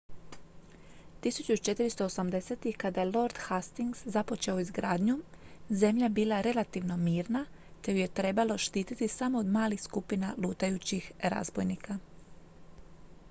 1480-ih kada je lord hastings započeo izgradnju zemlja je bila relativno mirna te ju je trebalo štititi samo od malih skupina lutajućih razbojnika